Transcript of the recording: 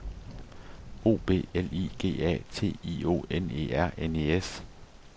O B L I G A T I O N E R N E S